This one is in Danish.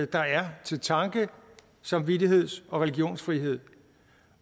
der er til tanke samvittigheds og religionsfrihed